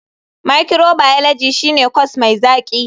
Microbiology shine corse mai zaki.